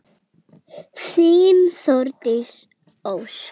Þín Þórdís Ósk.